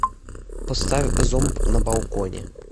поставь зомб на балконе